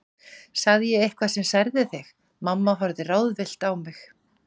Sagði ég eitthvað sem særði þig? mamma horfði ráðvillt á mig.